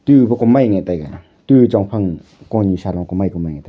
tu okomainya taiga tu chongphang konyusa roko maika mai taiga.